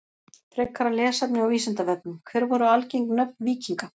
Frekara lesefni á Vísindavefnum: Hver voru algeng nöfn víkinga?